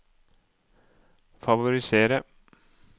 favoriserer